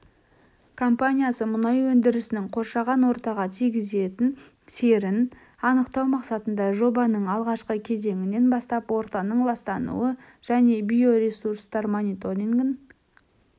компаниясы мұнай өндірісінің қоршаған ортаға тигізетін серін анықтау мақсатында жобаның алғашқы кезеңінен бастап ортаның ластануы және биоресурстар мониторингін